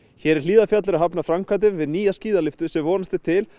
hér í Hlíðarfjalli eru hafnar framkvæmdir við nýja skíðalyftu sem vonast er til